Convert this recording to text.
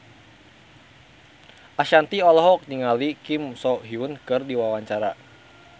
Ashanti olohok ningali Kim So Hyun keur diwawancara